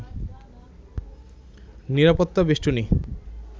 নিরাপত্তা বেষ্টনী